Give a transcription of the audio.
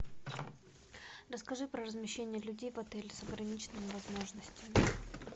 расскажи про размещение людей в отеле с ограниченными возможностями